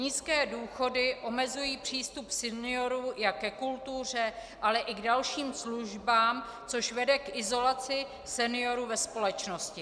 Nízké důchody omezují přístup seniorů jak ke kultuře, ale i k dalším službám, což vede k izolaci seniorů ve společnosti.